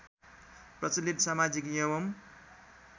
प्रचलित समाजिक एवं